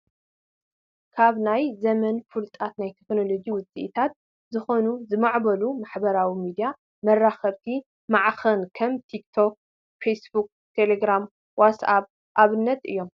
ካብ ናይዚ ዘመን ፍሉጣት ናይ ቴክኖሎጂ ውፅኢታትን ዝኾኑ ዝማዕበሉ ማሐበራዊ ሚድያታትን መራኸብቲ ማዕከናት ከም ቲክቶክ፣ ፌስቡክ ፣ ቴለግራምን ዋትስኣኘን ኣብነታት እዮም፡፡